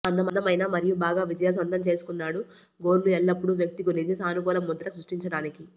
అందమైన మరియు బాగా విజయాలు సొంతం చేసుకున్నాడు గోర్లు ఎల్లప్పుడూ వ్యక్తి గురించి సానుకూల ముద్ర సృష్టించడానికి